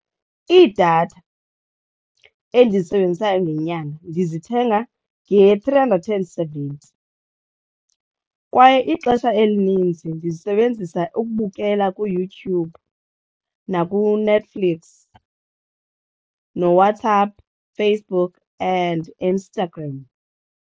Iidatha endizisebenzisayo ngenyanga ndizithenga nge-three hundred and seventy kwaye ixesha elininzi ndizisebenzisa ukubukela kuYouTube nakuNetflix nooWhatsApp, Facebook and Instagram.